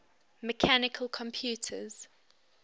mechanical computers